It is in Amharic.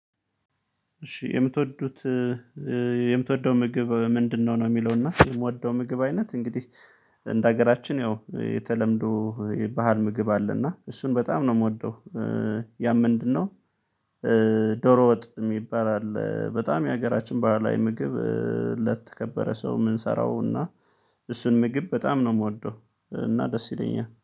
እሺ የምትወዱት የምትወደው ምግብ ምንድነው? ነው የሚለው እና የምወደው ምግብ አይነት እንግዲህ እንደ ሀገራችን ያው የተለመደፐዶ የባህል ምግብ አለና እሱን በጣም ነው የምወደው። ያም ምንድነው? ዶሮ ወጥ የሚባል አለ በጣም የሀገራችን ባህላዊ ምግብ ለተከበረ ሰው የምንሰራውና እሱን ምግብ በጣም ነው የምወደው። እና ደስ ይለኛል